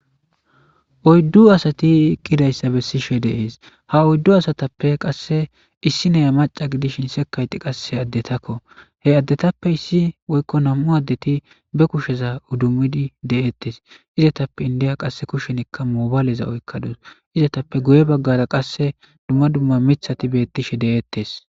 Oyddu asati iqqidayssa bessishe deees ha oyddu asatappe qasse issi neya maca gidishin sekayti qasse addetakko he addetappe issi woykko nam7u addeti be kusheza udumidi de7ettes izetappe indiya qasse kushenikka moobaaleza oykkadus izetappe goye baggara qasse dumma dumma mithati beettishe de7ettes.